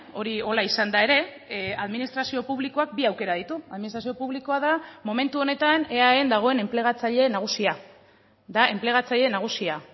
hori horrela izanda ere administrazio publikoak bi aukera ditu administrazio publikoa da momentu honetan eaen dagoen enplegatzaileen nagusia da enplegatzaile nagusia